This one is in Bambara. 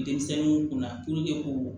Denmisɛnninw kun na ko